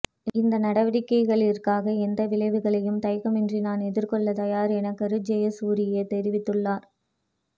இந்த நடவடிக்கைகளிற்காக எந்த விளைவுகளையும் தயக்கமின்றி நான் எதிர்கொள்ள தயார் என கருஜெயசூரிய தெரிவித்துள்ளார்